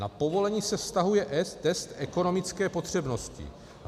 Na povolení se vztahuje test ekonomické potřebnosti.